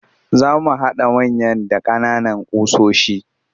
Za mu haɗa manya da ƙananan ƙusoshi